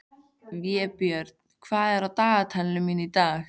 Vébjörn, hvað er í dagatalinu mínu í dag?